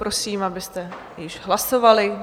Prosím, abyste již hlasovali.